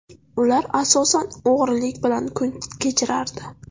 Ular asosan o‘g‘rilik bilan kun kechirardi.